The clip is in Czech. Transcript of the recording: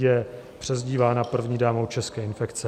Je přezdívána "první dámou české infekce".